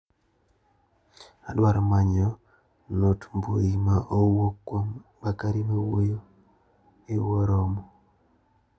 Adwaro manyo note mbui ma owuok kuom Bakari mawuoyo ewo romo.